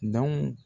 Dɔn